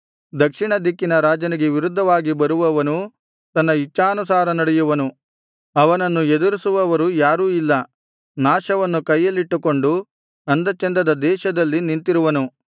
ದಕ್ಷಿಣ ದಿಕ್ಕಿನ ರಾಜನಿಗೆ ವಿರುದ್ಧವಾಗಿ ಬರುವವನು ತನ್ನ ಇಚ್ಛಾನುಸಾರ ನಡೆಯುವನು ಅವನನ್ನು ಎದುರಿಸುವವರು ಯಾರು ಇಲ್ಲ ನಾಶವನ್ನು ಕೈಯಲ್ಲಿಟ್ಟುಕೊಂಡು ಅಂದ ಚಂದದ ದೇಶದಲ್ಲಿ ನಿಂತಿರುವನು